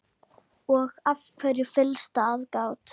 Og af hverju fyllsta aðgát?